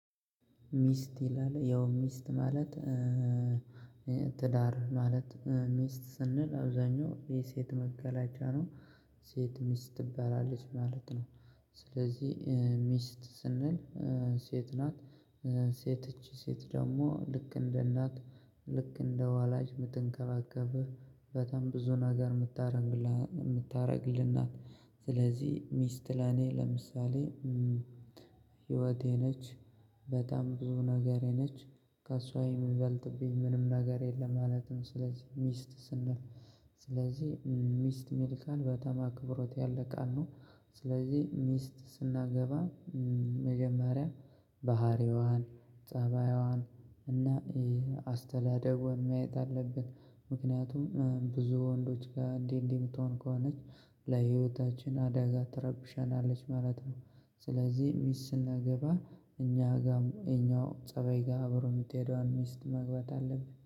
ሚስት ይላል ያው ሚስት ማለት ትዳር ማለት ሚስት ስንል አብዛኛው የሴት መገለጫ ነው። ሴት ሚስት ትባላለች ማለት ነው። ስለዚህ ሚስት ስንል ሴት ናት። ሴት እቺ ሴት ደግሞ ልክ እንደ እናት ልክ እንደ ወላጅ ምትንከባከብህ በጣም ብዙ ነገር የምታደርግልህ ናት ስለዚህ ሚስት ለኔ ለምሳሌ ህይወቴ ነች። በጣም ብዙ ነገሬ ነች። ከእሷ የሚበልጥብኝ ምንም ነገር የለም ማለት ነው ስለዚህ ሚስት ስንል። ስለዚህ ሚስት ሚል ቃል በጣም አክብሮት ያለ ቃል ነው ስለዚህ ሚስት ስናገባ መጀመሪያ ባህሪዋን ፀባይዋን እና አስተዳደጓን ማየት አለብን። ምክንያቱም ብዙ ወንዶች ጋር እንዲህ እንዲህ የምትሆን ከሆነች ለህይወታችን አደጋ ትረብሸናለች ማለት ነው። ስለዚህ ሚስት ስናገባ እኛ ጋር እኛው ፀባይ ጋር አብሮ የምትሄደውን ሚስት መግባት አለብን።